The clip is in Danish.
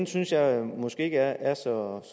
synes jeg måske ikke er så